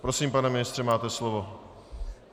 Prosím, pane ministře, máte slovo.